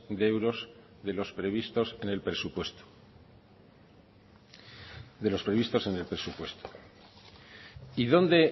de euros de los previstos en el presupuesto de los previstos en el presupuesto y dónde